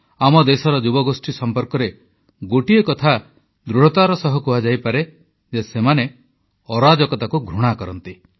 ଆମ ଦେଶର ଯୁବଗୋଷ୍ଠୀଙ୍କ ସମ୍ପର୍କରେ ଗୋଟିଏ କଥା ଦୃଢ଼ତାର ସହ କୁହାଯାଇପାରେ ଯେ ସେମାନେ ଅରାଜକତାକୁ ଘୃଣା କରନ୍ତି